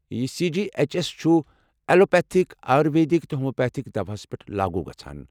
یہِ C G H S چھُ allopathic, ayurvedic, تہٕ ہومیوپیتھک دوہَس پٮ۪ٹھ لاگوُ گژھان۔